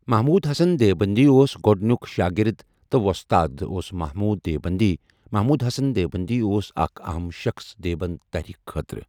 محمود حسن دیوبندی اوس گوڈنیک شاگرد تہ وستاد اوس محمود دیوبندی محمود حسن دیوبندی اوس اَکھ اہم شخص دیوبند تحریک خاطرہ۔